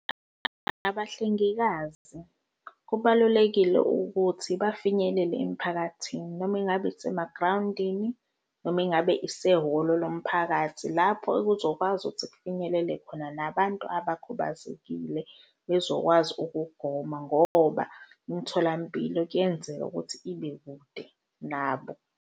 Abahlengikazi kubalulekile ukuthi bafinyelele emiphakathini noma ingabe isemagrawundini, noma ngabe isehholo lomphakathi lapho kuzokwazi ukuthi kufinyelele khona abantu abakhubazekile bezokwazi ukugoma ngoba imitholampilo kuyenzeka ukuthi ibe kude nabo.